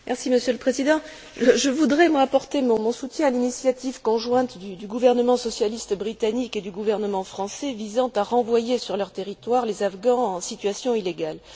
Monsieur le Président, je voudrais apporter mon soutien à l'initiative conjointe du gouvernement socialiste britannique et du gouvernement français visant à renvoyer sur leur territoire les Afghans en situation illégale.